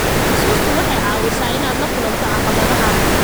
Xusuustu waxay caawisaa inaad la kulanto caqabadaha.